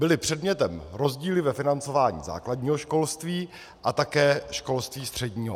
Byly předmětem rozdíly ve financování základního školství a také školství středního.